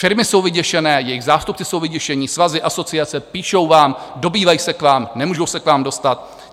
Firmy jsou vyděšené, jejich zástupci jsou vyděšení, svazy, asociace, píšou vám, dobývají se k vám, nemůžou se k vám dostat.